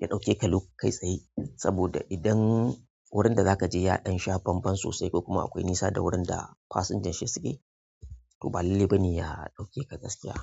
ya ɗauke ka lep kai tsaye. Saboda idan wurin da zaka je ya ɗan sha banba sosai, ko kuma akwai nisa da wurin da fasinja shi suke, to ba lallai bane ya ɗauke ka gaskiya.